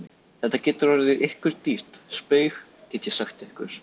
Þetta getur orðið ykkur dýrt spaug, get ég sagt ykkur!